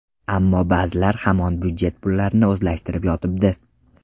Ammo ba’zilar hamon budjet pullarini o‘zlashtirib yotibdi.